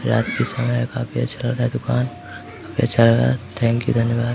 रात का समय है काफी अच्छा लग रहा है दुकान पे चल रहा है थैंक्यू धन्यवाद।